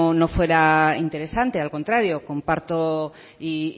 no fuera interesante al contrario comparto y